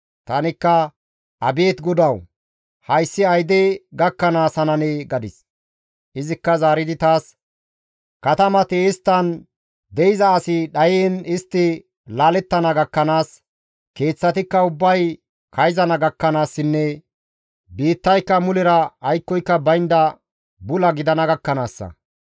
Tanikka, «Abeet Godawu! Hayssi ayde gakkanaas hananee?» gadis. Izikka zaaridi taas, «Katamati isttan de7iza asi dhayiin istti laalettana gakkanaas, keeththatikka ubbay kayzana gakkanaassinne biittayka mulera aykkoy baynda bula gidana gakkanaassa.